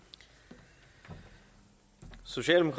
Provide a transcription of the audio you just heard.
det sker sjældent